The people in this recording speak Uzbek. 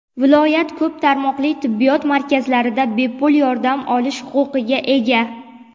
viloyat ko‘p tarmoqli tibbiyot markazlarida bepul yordam olish huquqiga ega;.